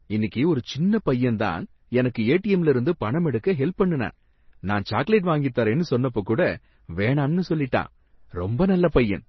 இன்னிக்கு ஒரு சின்ன பையன் தான் எனக்கு ஏடிஎம்ல இருந்து பணம் எடுக்க ஹெல்ப் பண்ணுனான், நான் சாக்லேட் வாங்கித் தரேன்னு சொன்னப்ப கூட வேணாம்னு சொல்லிட்டான். ரொம்ப நல்ல பையன்.